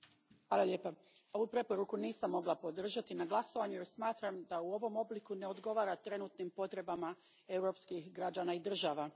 Gospođo predsjednice, ovu preporuku nisam mogla podržati na glasovanju jer smatram da u ovom obliku ne odgovara trenutnim potrebama europskih građana i država.